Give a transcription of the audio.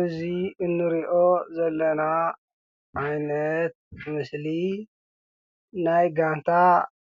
እዚ እንሪኦ ዘለና ዓይነት ምስሊ ናይ ጋንታ